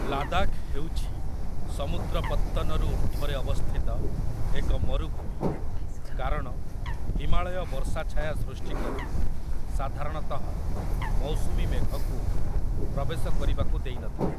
ଲାଦାଖ ହେଉଛି ସମୁଦ୍ର ପତ୍ତନରୁ ଉର୍ଦ୍ଧ୍ଵରେ ଅବସ୍ଥିତ ଏକ ମରୁଭୂମି କାରଣ ହିମାଳୟ ବର୍ଷା ଛାୟା ସୃଷ୍ଟି କରି ସାଧାରଣତଃ ମୌସୁମୀ ମେଘକୁ ପ୍ରବେଶ କରିବାକୁ ଦେଇନଥାଏ।